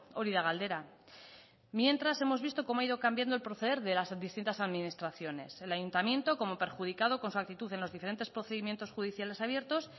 hori da galdera mientras hemos visto cómo ha ido cambiando el proceder de las distintas administraciones el ayuntamiento como perjudicado con su actitud en los diferentes procedimientos judiciales abiertos